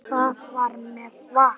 Það var með Val.